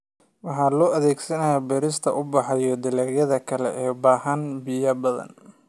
Waxa loo adeegsadaa beerista ubaxa iyo dalagyada kale ee u baahan biyo badan.